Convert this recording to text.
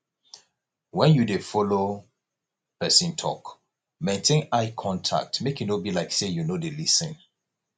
when you dey follow person talk maintain eye contact make e no be like sey you no dey lis ten